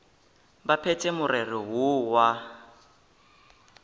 ba phethe morero woo wa